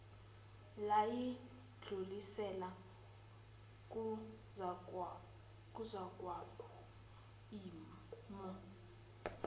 layidlulisela kuzakwabo omi